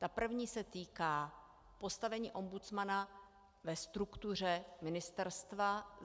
Ta první se týká postavení ombudsmana ve struktuře ministerstva.